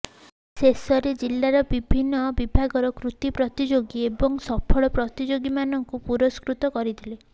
ଶେଷରେ ଜିଲ୍ଲାର ବିଭିନ୍ନ ବିଭାଗର କୃତୀ ପ୍ରତିଯୋଗୀ ଏବଂ ସଫଳ ପ୍ରତିଯୋଗୀମାନଙ୍କୁ ପୁରଷ୍କୃତ କରିଥିଲେ